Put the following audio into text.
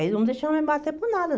Eles não deixavam me abater por nada.